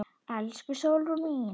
Elsku Sólrún mín.